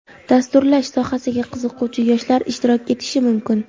dasturlash sohasiga qiziquvchi yoshlar ishtirok etishi mumkin.